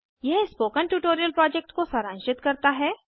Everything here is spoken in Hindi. यह स्पोकन ट्यटोरियल प्रोजेक्ट को सारांशित करता है